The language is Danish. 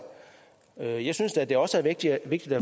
jeg jeg synes da også det er vigtigt at